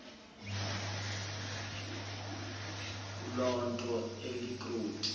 kuloo nto alikroti